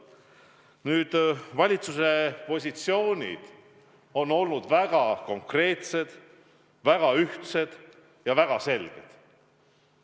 Nüüd, valitsuse positsioonid on olnud väga konkreetsed, väga ühtsed ja väga selged.